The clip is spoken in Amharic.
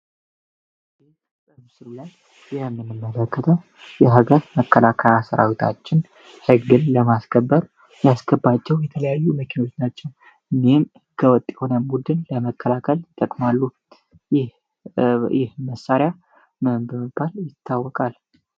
በምስሉ ላይ የምንመለከተው የሀገር መከላከያ ሰራዊታችን ህግን ለማስከበር የሚጠቀምባቸው የተለያዩ መኪናዎች ናቸው። እኒህም ውጪም የሆነ ቡድን ለመከላከል ይጠቅማሉ። ይህ መሳሪያ ምን በመባል ይታወቃል?